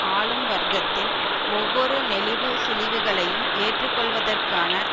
ஆளும் வர்க்கத்தின் ஒவ்வொரு நெளிவு சுழிவுகளையும் ஏற்றுக்கொள்வதற்கான